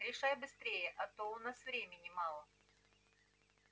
решай быстрее а то у нас времени мало